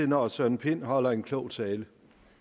herre søren pind holder en klog tale